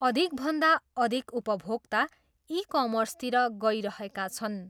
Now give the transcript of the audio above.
अधिकभन्दा अघिक उपभोक्ता ई कमर्सतिर गइरहेका छन्।